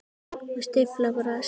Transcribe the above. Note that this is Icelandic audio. Og stíflan brast.